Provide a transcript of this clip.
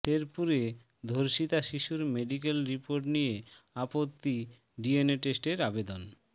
শেরপুরে ধর্ষিতা শিশুর মেডিকেল রিপোর্ট নিয়ে আপত্তি ডিএনএ টেস্টের আবেদন